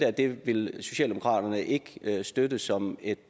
at det ville socialdemokraterne ikke støtte som et